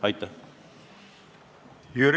Aitäh!